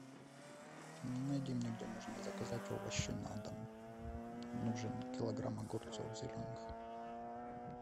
найди мне где можно заказать овощи на дом нужен килограмм огурцов зеленых